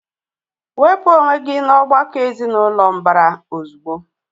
Wepụ onwe gị n'ọ̀gbakọ̀ ezinụlọ mbara ozugbo!